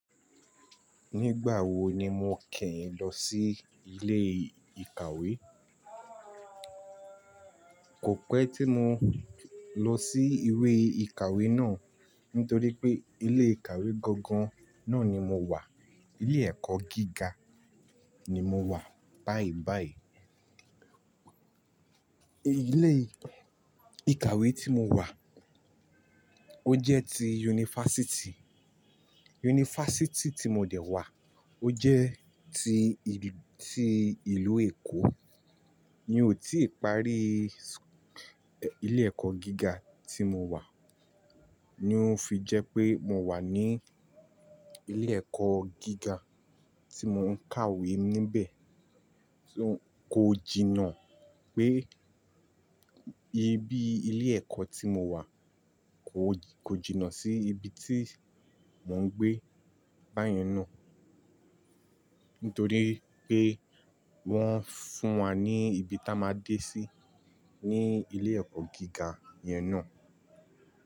Nígbà wo ni mo kí ń lọ sí ilé ìkàwé? Kò pẹ́ tí mo lọ sí iwee ìkàwé náà, nítorí pé ilé ìkàwé gangan náà ni mo wà. Ilé ẹ̀kọ́ gíga ni mo wà báyìí báyìí. Ilé ìkàwé tí mo wà ó jẹ́ ti yunifásítì. Yunifásítì tí mo dẹ̀ wà ó jẹ́ tii-- ti ìlú Èkó. Mi ò tíì parí ilé ẹ̀kọ́ gíga tí mo wà. Ni ó ń fi jẹ́ pé mo wà ní ilé ẹ̀kọ́ gíga tí mo ń kàwé níbẹ̀. Kò jìnnà pé ibi ilé ẹ̀kọ́ tí mo wà, kò jìnnà sí ibi tí mò ń gbé báyen náà. Nítorí pé wọ́n fún wa ní ibi tí a máa dé sí ní ilé ẹ̀kọ́ gíga yẹn náà.